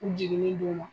U jiginni don u ma